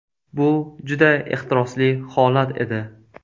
Bu juda ehtirosli holat edi.